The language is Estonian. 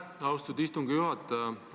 Aitäh, austatud istungi juhataja!